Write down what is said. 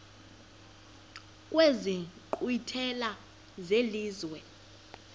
kwezi nkqwithela zelizwe